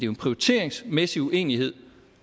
en prioriteringsmæssig uenighed